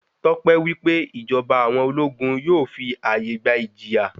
Tọ́pẹ́ wí pé ìjọba àwọn ológun yóò fi àyè gba ìjìyà.